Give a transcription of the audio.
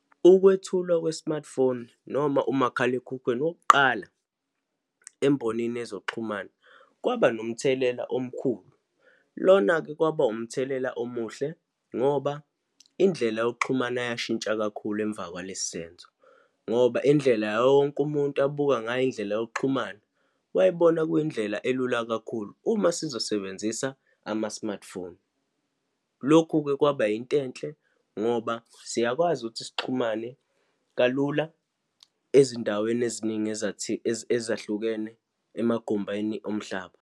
Ukwethulwa kwe-smartphone noma umakhalekhukhwini wokuqala embonini yezokuxhumana, kwaba nomthelela omkhulu. Lona-ke kwaba umthelela omuhle ngoba indlela yokuxhumana yashintsha kakhulu emva kwaleso senzo, ngoba indlela yawo wonke umuntu abuka ngayo indlela yokuxhumana, wayebona kuyindlela elula kakhulu uma sizosebenzisa ama-smartphone. Lokhu-ke kwaba yinto enhle, ngoba siyakwazi ukuthi sixhumane kalula ezindaweni eziningi ezahlukene emagumbeni omhlaba.